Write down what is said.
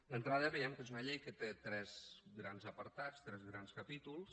d’entrada veiem que és una llei que té tres grans apartats tres grans capítols